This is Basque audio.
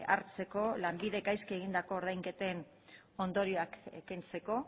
hartzeko lanbidek gaizki egindako ordainketen ondorioak kentzeko